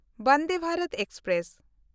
Vande Bharat express